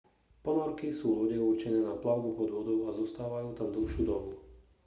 ponorky sú lode určené na plavbu pod vodou a zostávajú tam dlhšiu dobu